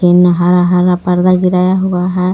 तीन हरा हरा पर्दा गिराया हुआ है.